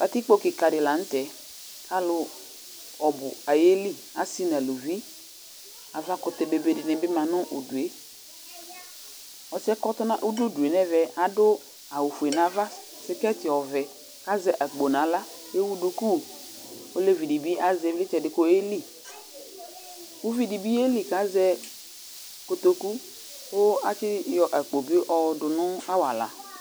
́Katikpo kɩka dɩ lanu tɛ Alʋ ɔbʋ ayeli, asɩ nʋ aluvi Avkʋtɛ bebe dɩnɩ bɩ ma nʋ udu yɛ Ɔsɩ kʋ ɔdʋ udu nʋ ɛvɛ adʋ awʋfue nʋ ava kʋ tsɔtsɩ ɔvɛ Azɛ akpo nʋ kʋ ewʋ duku Olevi dɩ bɩ azɛ ɩvlɩysɛ di kʋ oyeli Uvi di bɩ yeli kʋ azɛ kotoku kʋ atsɩ yɔ akpo bɩ yɔdʋ nʋ awala